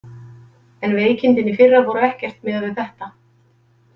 En veikindin í fyrra voru ekkert miðað við þetta.